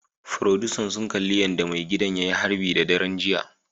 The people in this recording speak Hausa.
Furodusa sun kalli yadda maigidan ya yi harbi a daren jiya